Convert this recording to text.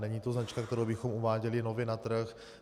Není to značka, kterou bychom uváděli nově na trh.